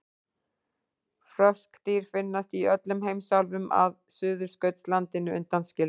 Froskdýr finnast í öllum heimsálfum að Suðurskautslandinu undanskildu.